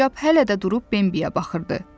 Sincab hələ də durub Bembiyə baxırdı.